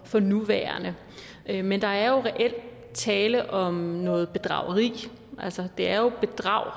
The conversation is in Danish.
for nuværende men der er jo reelt tale om noget bedrageri altså det er jo et bedrageri